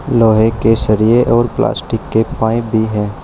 लोहे के सरिये और प्लास्टिक के पाइप भी है।